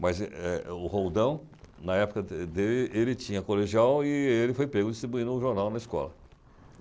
Mas ele, eh, o Roldão, na época de dele, ele tinha colegial e ele foi pego distribuindo um jornal na escola.